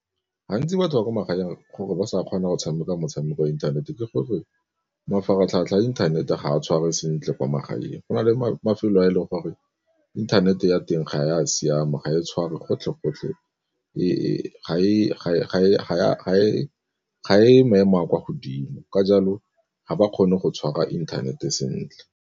Gantsi batho ba kwa magaeng gore ba sa kgona go tshameka motshameko wa inthanete ke gore mafaratlhatlha a inthanete ga a tshware sentle kwa magaeng, go na le mafelo a e leng gore inthanete ya teng ga ya siama ga e tshware gotlhe gotlhe ga e maemo a kwa godimo ka jalo ga ba kgone go tshwara inthanete sentle.